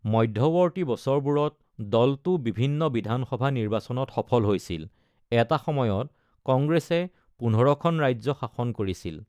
মধ্যৱৰ্তী বছৰবোৰত, দলটো বিভিন্ন বিধান সভা নিৰ্বাচনত সফল হৈছিল; এটা সময়ত, কংগ্ৰেছে ১৫ খন ৰাজ্য শাসন কৰিছিল।